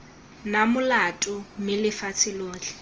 na molato mme lefatshe lotlhe